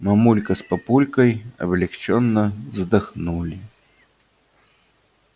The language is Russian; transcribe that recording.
мамулька с папулькой облегчённо вздохнули